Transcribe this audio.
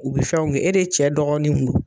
U bɛ fɛnw kɛ e de cɛ dɔgɔninw don.